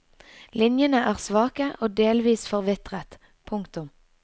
Linjene er svake og delvis forvitret. punktum